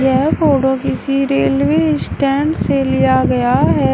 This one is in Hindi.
यह फोटो किसी रेलवे स्टैंड से लिया गया है।